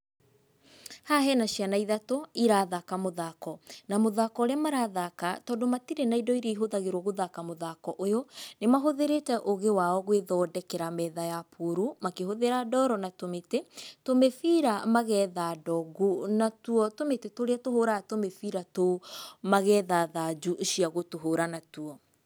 Haha hena ciana ithatũ, irathaka mũthako, na mũthako ũrĩa marathaka tondũ matirĩ na indo iria ihũthagĩrwo gũthaka mũthako ũyũ, nĩ mahũthĩrĩte ũgĩ wao gwĩthondekera metha ya puru, makĩhũthĩra ndoro na tũmĩtĩ, tũmĩbira magetha ndongu, natuo tũmĩtĩ tũrĩa tũhũraga tũmĩbira tũu, magetha thanju cia gũtũhũra natuo.